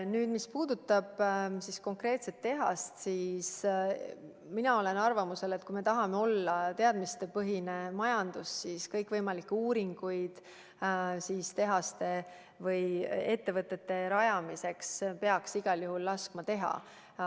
Nüüd, mis puudutab konkreetset tehast, siis mina olen arvamusel, et kui me tahame olla teadmistepõhine majandus, siis kõikvõimalikke uuringuid tehaste ja muude ettevõtete rajamiseks peaks igal juhul laskma teha.